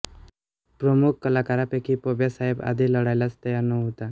प्रमुख कलाकारापैकी पब्या सायब आधी लढायलाच तयार नव्हता